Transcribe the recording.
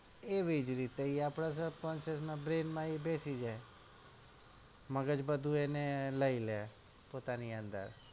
એવી જ રીતે એ આપડા subconscious ના brain માં એ બેસી જાય મગજ બધું એને લઇલે પોતાની અંદર